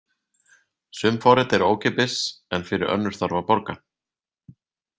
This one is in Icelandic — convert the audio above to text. Sum forrit eru ókeypis en fyrir önnur þarf að borga.